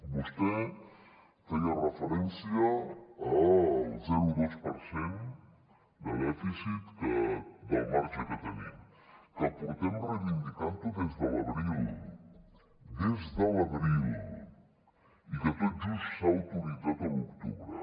vostè feia referència al zero coma dos per cent de dèficit del marge que tenim que portem reivindicant ho des de l’abril des de l’abril i que tot just s’ha autoritzat a l’octubre